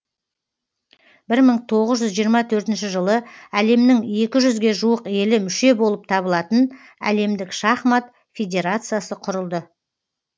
бір мың тоғыз жүз жиырма төртінші жылы әлемнің екі жүзге жуық елі мүше болып табылатын әлемдік шахмат федерациясы құрылды